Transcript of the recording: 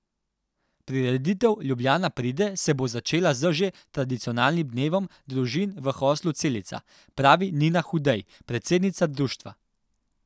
Prireditev Ljubljana pride se bo začela z že tradicionalnim Dnevom družin v Hostlu Celica, pravi Nina Hudej, predsednica društva.